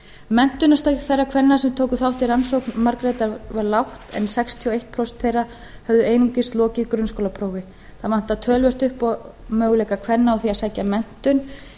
menntunarstig þeirra kvenna sem tóku þátt í rannsókn margrétar var lágt en sextíu og eitt prósent þeirra höfðu einungis lokið grunnskólaprófi það vantar töluvert upp á möguleika kvenna á því að sækja menntun